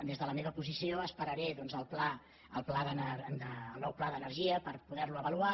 des de la meva posició esperaré doncs el nou pla d’energia per poder lo avaluar